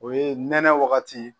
O ye nɛnɛ wagati